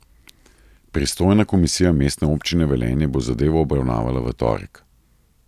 Pristojna komisija Mestne občine Velenje bo zadevo obravnavala v torek.